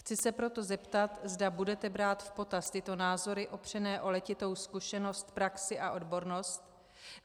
Chci se proto zeptat, zda budete brát v potaz tyto názory opřené o letitou zkušenost, praxi a odbornost.